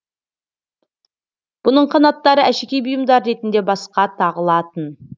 бұның қанаттары әшекей бұйымдары ретінде басқа тағылатын